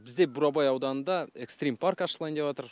бізде бурабай ауданында экстрим парк ашылайын деп отыр